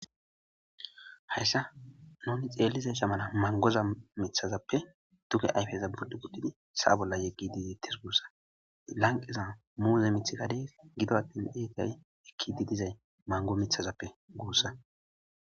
Hayssa noomi xeellize shamana mangoza mithazappe duge ayfeza buddu guttidi sa bolla yeggi diziittes guussa lanqiza muuze mithigades gido attin eekay ekki didizay mango mithazappe guussa